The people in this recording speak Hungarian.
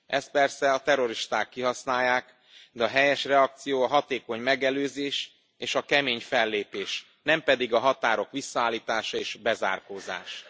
Ezt persze a terroristák kihasználják, de a helyes reakció a hatékony megelőzés és a kemény fellépés, nem pedig a határok visszaállítása és a bezárkózás.